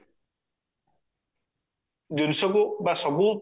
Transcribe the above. ସବୁ ଜିନିଷକୁ ବା ସବୁ